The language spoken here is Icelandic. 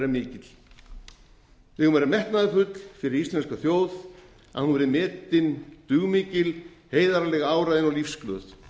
mikill við eigum að vera metnaðarfull fyrir íslenska þjóð að hún verði metin dugmikil heiðarleg áræðin og lífsglöð